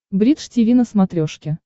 бридж тиви на смотрешке